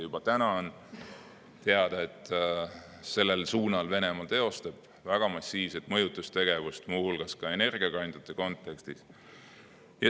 Juba täna on teada, et Venemaa teostab sellel suunal väga massiivset mõjutustegevust, muu hulgas ka energiakandjate kontekstis.